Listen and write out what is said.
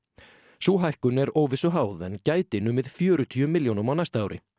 sú hækkun er óvissu háð en gæti numið fjörutíu milljónum á næsta ári